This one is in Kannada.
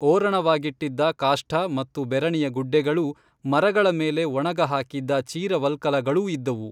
ಓರಣವಾಗಿಟ್ಟಿದ್ದ ಕಾಷ್ಠ ಮತ್ತು ಬೆರಣಿಯ ಗುಡ್ಡೆಗಳೂ ಮರಗಳ ಮೇಲೆ ಒಣಗಹಾಕಿದ್ದ ಚೀರವಲ್ಕಲಗಳೂ ಇದ್ದುವು